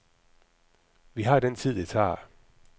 Vi har den tid, det tager.